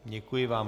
Děkuji vám.